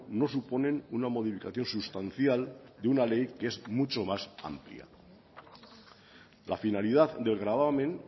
no suponen una modificación sustancial de una ley que es mucho más amplia la finalidad del gravamen